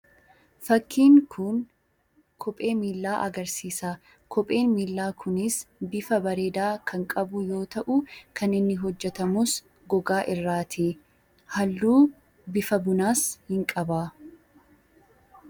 Fakkiin kun kophee miillaa agarsiisa. Kopheen miillaa kunis bifa bareedaa kan qabu yoo ta'u, kan inni hojjetamus gogaa irraa ti. Halluu bifa bunaas hin qaba.